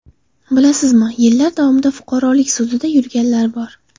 Bilasizmi, yillar davomida fuqarolik sudida yurganlar bor.